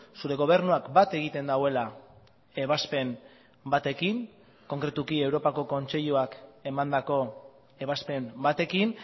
zure gobernuak bat egiten duela ebazpen batekin konkretuki europako kontseiluak emandako ebazpen batekin